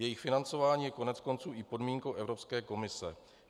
Jejich financování je koneckonců i podmínkou Evropské komise.